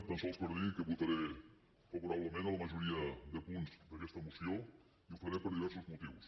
tan sols per dir que votaré favorablement a la majoria de punts d’aquesta moció i ho faré per diversos motius